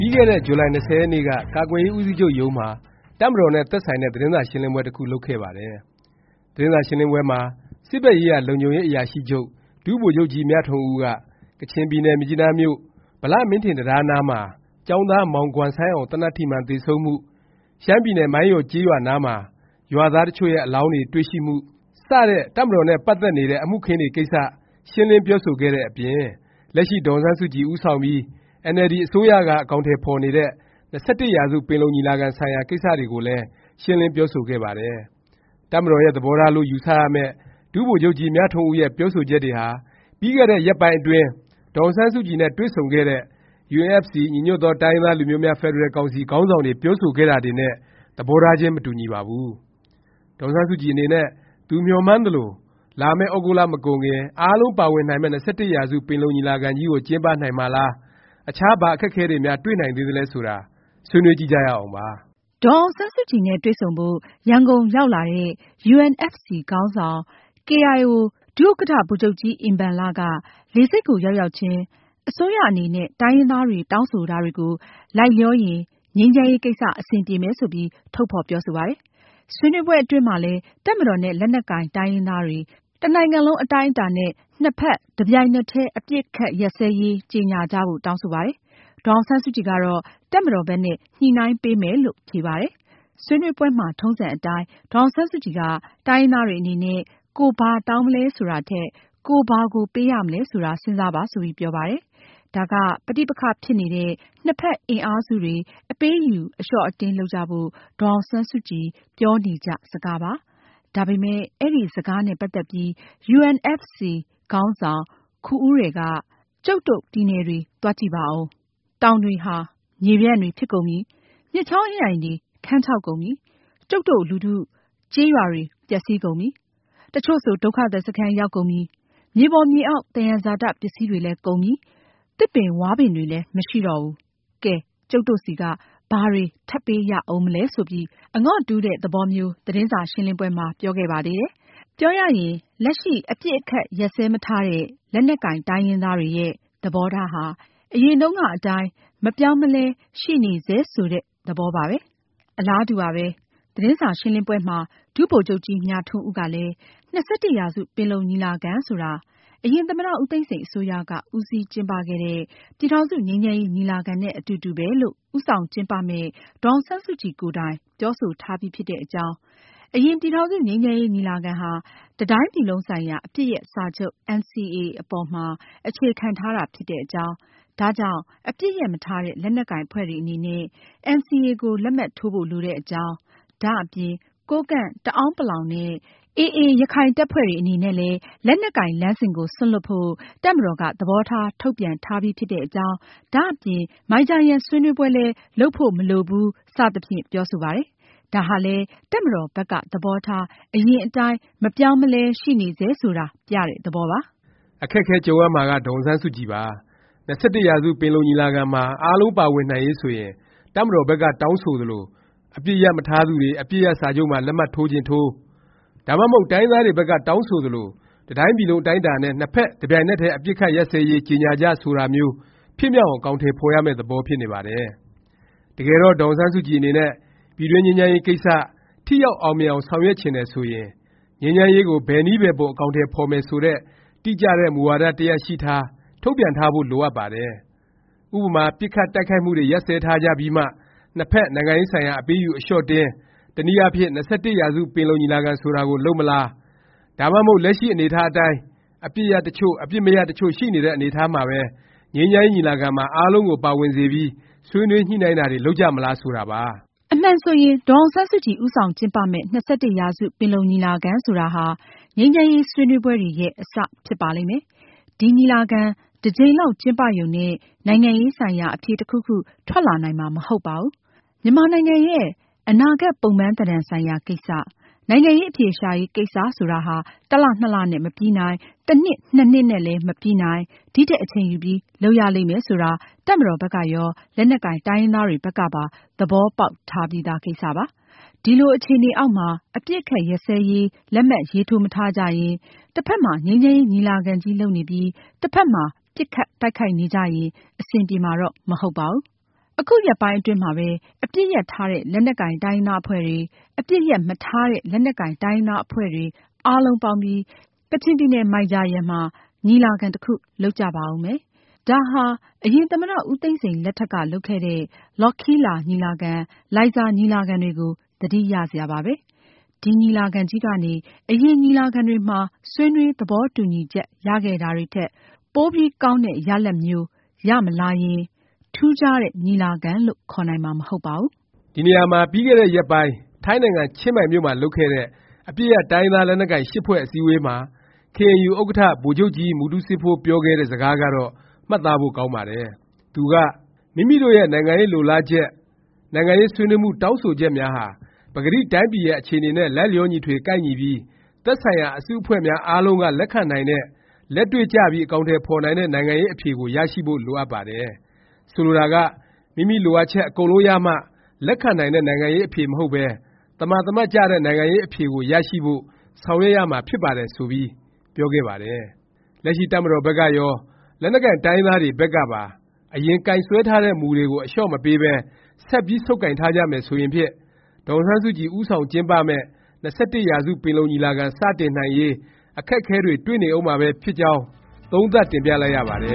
ီးခဲ့တဲ့ ဇူလိုင်၂၀ ရက်နေ့က ကာကွယ်ရေး ဦးစီးချုပ်ရုံးမှာ တပ်မတော်နဲ့ သက်ဆိုင် တဲ့ သတင်းစာရှင်းလင်းပွဲ တစ်ခုလုပ်ခဲ့ပါတယ်။ သတင်းစာရှင်းလင်းပွဲမှာ စစ်ဘက်ရေးရာ လုံခြုံရေး အရာရှိချုပ် ဒုဗိုလ်ချုပ်ကြီးမြထွန်းဦးက ကချင်ပြည် နယ် မြစ်ကြီးနားမြို့ ဗလမင်းထင်တံတားနားမှာ ကျောင်းသား မောင်ဂွမ်ဆိုင်းေ အာင် သေနတ်ထိမှန် သေဆုံးမှု၊ ရှမ်းပြည်နယ် မိုင်းယော်ကျေးရွာနားမှာ ရွာသား တစ်ချို့ရဲ့ အလောင်းတွေ တွေ့ရှိမှု စတဲ့ တပ်မတော်နဲ့ ပတ်သက်နေတဲ့ အမှုအခင်းတွေ ကိစ္စရှင်းလင်းပြောဆိုခဲ့တဲ့အပြင် လက်ရှိ ဒေါ်အောင်ဆန်းစုကြည် ဦးဆောင်ပြီး အင်န်အယ်လ်ဒီ အစိုးရက အကောင်အထည်ဖော်နေတဲ့ ၂၁ ရာစု ပင်လုံညီလာခံ ဆိုင်ရာ ကိစ္စတွေကိုလည်း ရှင်းလင်း ပြောဆိုခဲ့ပါတယ်။ တပ်မတော်ရဲ့ သဘောထားလို့ ယူဆရမယ့် ဒုဗိုလ်ချုပ်ကြီး မြထွန်းဦး ရဲ့ ပြောဆိုချက်တွေဟာ ပြီးခဲ့တဲ့ ရက်ပိုင်းအတွင်း ဒေါ်အောင်ဆန်းစုကြည် နဲ့ တွေ့ဆုံခဲ့တဲ့ UNFC ညီညွတ်သော တိုင်းရင်းသားလူမျိုးများ ဖက်ဒရယ်ကောင်စီ ခေါင်းဆောင်တွေ ပြောဆိုခဲ့တာတွေနဲ့ သဘောထားချင်း မတူညီပါဘူး။ ဒေါ်အောင်ဆန်းစုကြည် အနေနဲ့ သူမျှော်မှန်းသလို လာမယ့် သြဂုတ်လ မကုန်ခင် အားလုံး ပါဝင်နိုင်မယ့် ၂၁ရာစု ပင်လုံညီလာခံကြီးကို ကျင်းပနိုင်မှာလား၊ အခြား ဘာအခက်အခဲတွေများ တွေ့နိုင်သေးသလဲ ဆိုတာ ဆွေးနွေးကြည့်ကြရအောင်ပါ။ ဒေါ်အောင်ဆန်းစုကြည်နဲ့ တွေ့ဆုံဖို့ရန်ကုန်ရောက်လာတဲ့ UNFC ခေါင်းဆောင် ကေအိုင်အို ဒုဥက္ကဌ ဗိုလ်ချုပ်ကြီးအင်ဘန်လက လေ ဆိပ်ကို ရောက်ရောက်ခြင်း အစိုးရ အနေနဲ့ တိုင်းရင်းသားတွေ တောင်းဆို တာတွေကို လိုက်လျောရင် ငြိမ်းချမ်းရေးကိစ္စ အဆင်ပြေမယ် ဆိုပြီး ထုတ်ဖော်ပြော ဆိုပါတယ်။ ဆွေးနွေးပွဲ အတွင်းမှာလည်း တပ်မတော်နဲ့ လက်နက်ကိုင် တိုင်းရင်းသားတွေ တစ်နိုင်ငံလုံး အတိုင်းအ တာ နှစ်ဖက် တစ်ပြိုင်နက်တည်း အပစ်အခတ် ရပ်စဲ ကြေငြာကြ ဖို့ တောင်း ဆိုပါ တယ်။ ဒေါ်အောင်ဆန်းစုကြည် ကတော့ တပ်မတော်ဘက်နဲ့ ညှိနှိုင်းပေး မယ်လို့ ဖြေပါတယ်။ ဆွေးနွေးပွဲမှာ ထုံးစံအတိုင်း ဒေါ်အောင် ဆန်းစုကြည်က တိုင်းရင်းသားတွေ အနေနဲ့ ကိုယ်ဘာတောင်း မလဲ ဆိုတာထက် ကိုယ်ဘာ ကို ပေးရမလဲ ဆိုတာ စဉ်းစားပါ ဆိုပြီး ပြောပါတယ်။ ဒါက ပဋိ ပက္ခဖြစ်နေ တဲ့ နှစ်ဖက် အင်အားစုတွေ အပေးအယူ အလျော့အတင်း လုပ်ကြ ဖို့ ဒေါ်အောင်ဆန်းစုကြည် ပြောနေကြစကားပါ။ ဒါပေမယ့် အဲဒီ စကားနဲ့ ပတ် သက်ပြီး UNFC ခေါင်းေ ဆာင်ခူဦးရယ်က ကျုပ်တို့ ပြည်နယ်တွေ သွား ကြည့်ပါဦး၊ တောင်တွေ ဟာ မြေပြန့်တွေ ဖြစ် ကုန်ပြီ၊ မြစ်ချောင်းအင်းအိုင်တွေ ခန်းခြောက် ကုန်ပြီ။ ကျုပ်တို့ လူထု ကျေးရွာတွေ ပျက်စီးကုန်ပြီ။ တစ်ချို့ဆို ဒုက္ခသည် စခန်း ရောက်ကုန်ပြီ။ မြေပေါ်မြေအောက် သယံဇာတ ပစ္စည်းတွေလည်း ကုန်ပြီ။ သစ်ပင်ဝါးပင်တွေလည်း မရှိတော့ဘူး။ ကဲ ကျုပ်တို့ဆီက ဘာတွေ ထပ်ပေးရဦးမလဲ ဆိုပြီး အငေါ်တူးတဲ့ သဘောမျိုး သတင်းစာရှင်းလင်းပွဲ မှာ ပြောခဲ့ပါသေး တယ်။ ပြောရရင် လက်ရှိ အပစ်ရပ်မထားတဲ့ လက်နက်ကိုင် တိုင်းရင်းသားတွေရဲ့ သဘောထားဟာ အရင်တုန်းကအတိုင်း မပြောင်းမလဲ ရှိနေဆဲ ဆိုတဲ့ သဘောပါပဲ။ အလားတူပါပဲ။ သတင်းစာရှင်းလင်းပွဲမှာ ဒုဗိုလ်ချုပ်ကြီး မြထွန်းဦးကလည်း ၂၁ ရာစု ပင်လုံညီလာခံဆိုတာ အရင် သမ္မတ ဦးသိန်းစိန် အစိုးရက ဦးစီးကျင်း ပခဲ့တဲ့ ပြည်ထောင်စု ငြိမ်းချမ်းရေး ညီလာခံနဲ့ အတူတူပဲလို့ ဦးဆောင်ကျင်း ပမယ့် ဒေါ်အောင်ဆန်းစုကြည် ကိုယ်တိုင် ပြောဆို ထားပြီး ဖြစ်တဲ့အကြောင်း၊ အရင် ပြည်ထောင်စု ငြိမ်းချမ်းရေး ညီလာခံဟာ တစ်တိုင်းပြည်လုံးဆိုင်ရာ အပစ်ရပ်စာချုပ် NCA ပေါ်မှာ အခြေခံထားတာ ဖြစ်တဲ့အကြောင်း၊ ဒါကြောင့် အပစ်ရပ်မထားတဲ့ လက်နက်ကိုင် အဖွဲ့တွေ အနေနဲ့ NCA ကို လက်မှတ်ထိုးဖို့ လိုတဲ့အကြောင်း၊ ဒါအပြင် ကိုးကန့်၊ တအာန်းပလောင်နဲ့ AA ရခိုင်တပ်ဖွဲ့တွေ အနေနဲ့လည်း လက်နက်ကိုင်လမ်းစဉ်ကို စွန့်လွှတ်ဖို့ တပ်မတော်က သဘောထား ထုတ်ပြန်ထားပြီးဖြစ်တဲ့အကြောင်း၊ ဒါ့အပြင် မိုင်ဂျာယန်ဆွေးနွေးပွဲလည်း လုပ်ဖို့ မလိုဘူး စသဖြင့် ပြောဆိုပါတယ်။ ဒါဟာလည်း တပ်မတော်ဘက်က သဘောထား အရင်အတိုင်း မပြောင်းမလဲ ရှိနေဆဲ ဆိုတာ ပြတဲ့ သဘောပါ။ အခက်အခဲ ကြုံရမှာက ဒေါ်အောင်ဆန်းစုကြည်ပါ။ ၂၁ ရာစု ပင်လုံညီလာခံမှာ အားလုံးပါဝင်နိုင်ရေး ဆိုရင် တပ်မတော်ဘက်က တောင်းဆိုသလို အပစ်ရပ်မထား သူတွေ အပစ်ရပ် စာချုပ်မှာ လက်မှတ် ထိုးချင်ထိုး၊ ဒါမှမဟုတ် တိုင်းရင်းသားတွေ ဘက်က တောင်းဆိုသလို တစ်တိုင်းပြည်လုံး အတိုင်းအတာနဲ့ နှစ်ဖက် တစ်ပြိုင်နက်တည်း အပစ်အခတ် ရပ်စဲရေး ကြေငြာကြ ဆိုတာမျိုး ဖြစ်မြောက်အောင် အကောင်အထည် ဖော်ရမယ့် သဘောပါ။ တကယ်တော့ ဒေါ်အောင်ဆန်းစုကြည် အနေနဲ့ ပြည်တွင်း ငြိမ်းချမ်းရေးကိစ္စ ထိရောက် အောင်မြင်အောင် ဆောင်ရွက်ချင်တယ် ဆိုရင် ငြိမ်းချမ်းရေးကို ဘယ်နည်းဘယ်ပုံ အကောင်အထည် ဖော်မယ် ဆိုတဲ့ တိကျတဲ့ မူဝါဒ တစ်ရပ် ရှိထား၊ ထုတ်ပြန်ထားဖို့ လိုအပ်ပါတယ်။ ဥပမာ ပစ်ခတ် တိုက်ခိုက်မှုတွေ ရပ်စဲထားကြပြီးမှ နှစ်ဖက် နိုင်ငံရေးဆိုင်ရာ အပေးအယူ အလျော့အတင်း၊ တစ်နည်းအားဖြင့် ၂၁ ရာစု ပင်လုံညီလာခံ ဆိုတာကို လုပ်မလား၊ ဒါမှမဟုတ် လက်ရှိ အနေအထား အတိုင်း အပစ်ရပ် တစ်ချို့၊ အပစ်မရပ်တစ်ချို့ ရှိနေတဲ့ အနေအထားမှာပဲ ငြိမ်းချမ်းရေး ညီလာခံမှာ အားလုံးကို ပါဝင်စေပြီး ဆွေးနွေးညှိနှိုင်းတာတွေ လုပ်ကြမလား ဆိုတာပါ။ အမှန်ဆိုရင် ဒေါ်အောင်ဆန်းစုကြည် ဦးဆောင်ကျင်းပမယ့် ၂၁ ရာစု ပင်လုံညီလာခံ ဆိုတာဟာ ငြိမ်းချမ်းရေး ဆွေးနွေးပွဲတွေရဲ့ အစ ဖြစ်ပါလိမ့်မယ်။ ဒီ ညီလာခံ တစ်ကြိမ်လောက် ကျင်းပရုံနဲ့ နိုင်ငံရေးဆိုင်ရာ အဖြေ တစ်ခုခု ထွက်လာနိုင်မှာ မဟုတ်ပါဘူး။ မြန်မာနိုင်ငံရဲ့ အနာဂတ် ပုံပန်းသဏ္ဍာန် ဆိုင်ရာ ကိစ္စ၊ နိုင်ငံရေး အဖြေရှာရေး ကိစ္စဆိုတာဟာ တစ်လ နှစ်လ နဲ့ မပြီးနိုင်၊ တစ်နှစ် နှစ်နှစ်နဲ့လည်း မပြီးနိုင်၊ ဒီထက် အချိန်ယူပြီး လုပ်ရလိမ့်မယ် ဆိုတာ တပ်မတော်ဘက်ကရော လက်နက်ကိုင် တိုင်းရင်းသားတွေ ဘက်ကပါ သဘောပေါက်ထားပြီးသား ကိစ္စပါ။ ဒီလို အခြေအနေအောက်မှာ အပစ်အခတ်ရပ်စဲရေး လက်မှတ် ရေးထိုးမထားကြရင်၊ တစ်ဖက်မှာ ငြိမ်းချမ်းရေး ညီလာခံကြီး လုပ်နေပြီး တစ်ဖက်မှာ ပစ်ခတ်တိုက် ခိုက်နေကြရင် အဆင်ပြေမှာတော့ မဟုတ်ပါဘူး။ အခုရက်ပိုင်း အတွင်းမှာပဲ အပစ်ရပ်ထားတဲ့ လက်နက်ကိုင် တိုင်းရင်းသား အဖွဲ့တွေ၊ အပစ်ရပ်မထားတဲ့ လက်နက်ကိုင် တိုင်းရင်းသား အဖွဲ့တွေ အားလုံးပေါင်းပြီး ကချင်ပြည်နယ် မိုင်ဂျာယန်မှာ ညီလာခံ တစ်ခု လုပ်ကြပါဦးမယ်။ ဒါဟာ အရင် သမ္မတ ဦးသိန်းစိန် လက်ထက်က လုပ်ခဲ့တဲ့ လော်ခီးလာညီလာခံ၊ လိုင်ဇာညီလာခံ တွေကို သတိရစရာပါပဲ။ ဒီညီလာခံကြီးကနေ အရင် ညီလာခံတွေ မှာ ဆွေးနွေး သဘောတူညီချက် ရခဲ့တာတွေထက် ပိုပြီးကောင်းတဲ့ ရလာဒ်မျိုး ရမလာရင် ထူးခြားတဲ့ ညီလာခံလို့ ခေါ်နိုင်မှာ မဟုတ်ပါဘူး။ ဒီနေရာမှာ ပြီးခဲ့တဲ့ရက်ပိုင်း ထိုင်းနိုင်ငံ ချင်းမိုင်မြို့မှာ လုပ်ခဲ့တဲ့ အပစ်ရပ် တိုင်းရင်းသားလက်နက်ကိုင် (၈) ဖွဲ့ အစည်းအဝေးမှာ KNU ဥက္ကဌ ဗိုလ်ချုပ်ကြီးမူတူးစေးဖိုး ပြောခဲ့တဲ့ စကားကတော့ မှတ်သားဖို့ ကောင်းပါတယ်။ သူက “မိမိတို့ရဲ့ နိုင်ငံရေး လိုလားချက် နိုင်ငံရေးဆွေးနွေးမှု တောင်းဆိုချက်များဟာ ပကတိတိုင်းပြည်ရဲ့ အခြေအနေနဲ့ လိုက်လျောညီထွေကိုက်ညီပြီး သက်ဆိုင်ရာ အစုအဖွဲ့များအားလုံးက လက်ခံနိုင်တဲ့ လက်တွေ့ကျပြီး အကောင် အထည်ဖော်နိုင်တဲ့ နိုင်ငံရေးအဖြေကိုရရှိဖို့ လိုအပ်ပါတယ်၊ ဆိုလိုတာက မိမိလိုအပ်ချက် အကုန်လုံးရမှ လက်ခံနိုင်တဲ့ နိုင်ငံရေး အဖြေမဟုတ်ဘဲ သမာသမတ်ကျတဲ့ နိုင်ငံရေးအဖြေကိုရရှိဖို့ ဆောင်ရွက်ရမှာဖြစ်ပါတယ်” ဆိုပြီး ပြောခဲ့ပါတယ်။ လက်ရှိ တပ်မတော်ဘက်ကရော လက်နက်ကိုင် တိုင်းရင်းသားတွေ ဘက်ကပါ အရင် ကိုင်စွဲထားတဲ့ မူတွေကို အလျော့မပေးပဲ ဆက်ပြီး ဆုတ်ကိုင်ထားကြမယ် ဆိုရင်ဖြင့် ဒေါ်အောင်ဆန်းစုကြည် ဦးဆောင်ကျင်းပမယ့် ၂၁ ရာစု ပင်လုံညီလာခံ စတင်နိုင်ရေး အခက်အခဲတွေ တွေ့နေဦးမှာပဲဖြစ်ကြောင်း သုံးသပ်တင်ပြလိုက်ရပါတယ